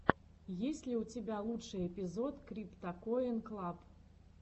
есть ли у тебя лучший эпизод криптакоин клаб